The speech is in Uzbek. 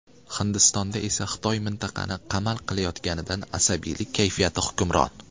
Hindistonda esa Xitoy mintaqani qamal qilayotganidan asabiylik kayfiyati hukmron.